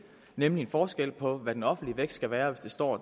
nemlig en forskel på hvad den offentlige vækst skal være hvis det står